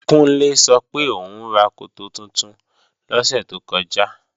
Kúnlé sọ pé òún ra koto tuntun lọ́sẹ̀ tó kọjá